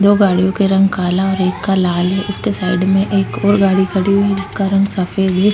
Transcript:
दो गाड़ियों का रंग काला और एक का लाल है उसके साइड में एक और गाडी खड़ी हुई है जिसका रंग सफ़ेद --